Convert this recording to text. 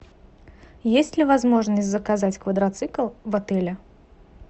есть ли возможность заказать квадроцикл в отеле